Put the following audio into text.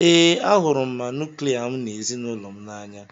Ee, ahụrụ m ma nuklia m na ezinụlọ m n'anya.